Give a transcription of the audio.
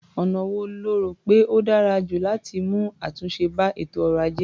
Ọ̀nà wo lo rò pé ó dára jù láti mú àtúnṣe bá ètò ọrọ̀-ajé?